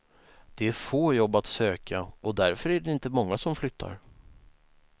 Det är få jobb att söka och därför är det inte många som flyttar.